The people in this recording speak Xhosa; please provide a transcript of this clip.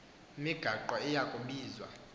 migaqo iya kubizwa